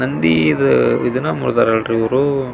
ನಂದಿ ದ್ ಇದನ್ನ ಮುರ್ದಾರ ಅಲ್ರಿ ಇವರು.